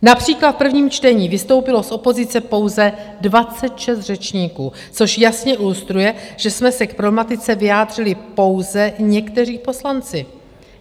Například v prvním čtení vystoupilo z opozice pouze 26 řečníků, což jasně ilustruje, že jsme se k problematice vyjádřili pouze někteří poslanci.